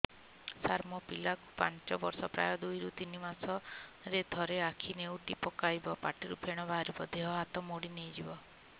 ସାର ମୋ ପିଲା କୁ ପାଞ୍ଚ ବର୍ଷ ପ୍ରାୟ ଦୁଇରୁ ତିନି ମାସ ରେ ଥରେ ଆଖି ନେଉଟି ପକାଇବ ପାଟିରୁ ଫେଣ ବାହାରିବ ଦେହ ହାତ ମୋଡି ନେଇଯିବ